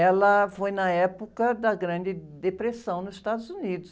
Ela, foi na época da grande depressão nos Estados Unidos.